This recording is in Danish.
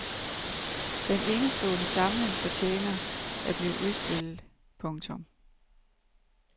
Den enestående samling fortjener at blive udstillet. punktum